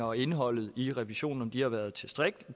og indholdet i revisionen har været tilstrækkelige